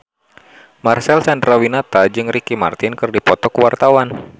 Marcel Chandrawinata jeung Ricky Martin keur dipoto ku wartawan